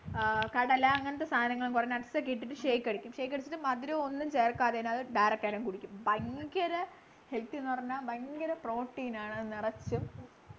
ആഹ് കടല അങ്ങനത്തെ സാധനങ്ങൾ കൊറേ nuts ഒക്കെ ഇട്ടിട്ടു shake അടിക്കും shake അടിച്ചിട്ട് മധുരം ഒന്നും ചേർക്കാതെ അങ്ങനെതന്നെ കുടിക്കും ഭയങ്കര healthy ന്നു പറഞ്ഞാല് ഭയങ്കര protein ആണ് അത് നിറച്ചും